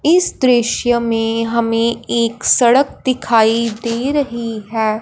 इस दृश्य में हमें एक सड़क दिखाई दे रही है।